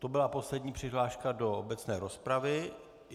To byla poslední přihláška do obecné rozpravy.